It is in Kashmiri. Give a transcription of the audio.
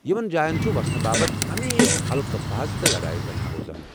یمن جاین چُھ وسنہٕ باپت ہمیشہِ ہلكہٕ بحث تہٕ لڑایہِ گژھان روزان۔